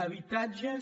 habitatges